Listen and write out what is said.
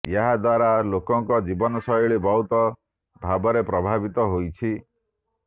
ଏହା ଦ୍ୱାରା ଲୋକଙ୍କ ଜୀବନଶ୘ଳୀ ବହୁଳ ଭାବରେ ପ୍ରଭାବିତ ହୋଇଛି